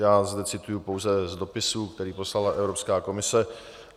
Já zde cituji pouze z dopisů, který poslala Evropská komise.